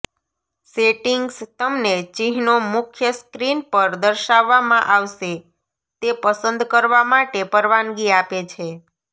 settings તમને ચિહ્નો મુખ્ય સ્ક્રીન પર દર્શાવવામાં આવશે તે પસંદ કરવા માટે પરવાનગી આપે છે